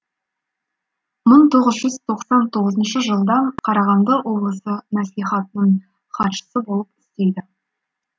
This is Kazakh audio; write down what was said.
мың тоғыз жүз тоқсан тоғызыншы жылдан қарағанды облысы мәслихатының хатшысы болып істейді